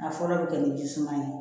A fɔlɔ bɛ kɛ ni ji suma ye